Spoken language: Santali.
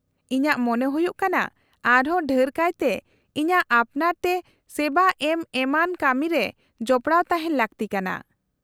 -ᱤᱧᱟᱹᱜ ᱢᱚᱱᱮ ᱦᱩᱭᱩᱜ ᱠᱟᱱᱟ ᱟᱨᱦᱚᱸ ᱰᱷᱮᱨ ᱠᱟᱭᱛᱮ ᱤᱧᱟᱹᱜ ᱟᱯᱱᱟᱨ ᱛᱮ ᱥᱮᱵᱟ ᱮᱢ ᱮᱢᱟᱱ ᱠᱟᱢᱤᱨᱮ ᱡᱚᱯᱲᱟᱣ ᱛᱟᱦᱮᱱ ᱞᱟᱹᱠᱛᱤ ᱠᱟᱱᱟ ᱾